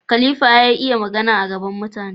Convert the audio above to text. khAlifa ya iya Magana a gaban mutane